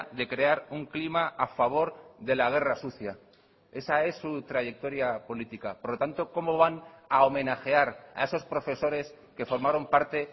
de crear un clima a favor de la guerra sucia esa es su trayectoria política por lo tanto cómo van a homenajear a esos profesores que formaron parte